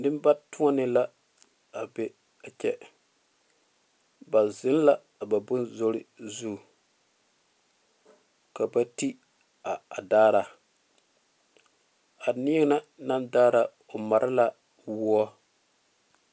Neŋ ba tɔne la a kyɛ ba zeŋe la a ba bone zoro zuŋ ka ba te a daare a neɛ na naŋ daare o mare a wɔ.